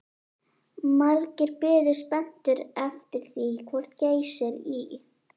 Margir biðu spenntir eftir því hvort Geysir í